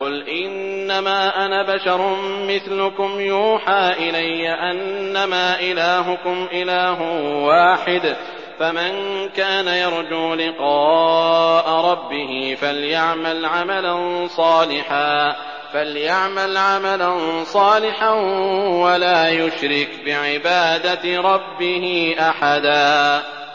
قُلْ إِنَّمَا أَنَا بَشَرٌ مِّثْلُكُمْ يُوحَىٰ إِلَيَّ أَنَّمَا إِلَٰهُكُمْ إِلَٰهٌ وَاحِدٌ ۖ فَمَن كَانَ يَرْجُو لِقَاءَ رَبِّهِ فَلْيَعْمَلْ عَمَلًا صَالِحًا وَلَا يُشْرِكْ بِعِبَادَةِ رَبِّهِ أَحَدًا